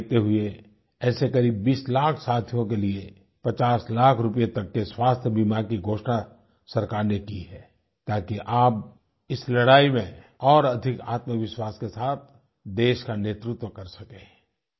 इसी को देखते हुए ऐसे करीब 20 लाख साथियों के लिए 50 लाख रुपये तक के स्वास्थ्यबीमा की घोषणा सरकार ने की है ताकि आप इस लड़ाई में और अधिक आत्मविश्वास के साथ देश का नेतृत्व कर सकें